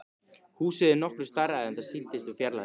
Húsið er nokkru stærra en það sýndist úr fjarlægð.